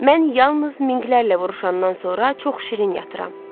Mən yalnız Minqlərlə vuruşandan sonra çox şirin yatıram.